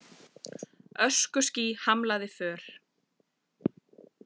Öskuský hamlaði för